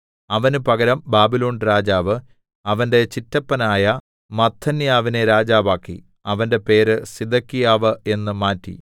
അവന് പകരം ബാബിലോൺരാജാവ് അവന്റെ ചിറ്റപ്പനായ മത്ഥന്യാവിനെ രാജാവാക്കി അവന്റെ പേര് സിദെക്കീയാവ് എന്ന് മാറ്റി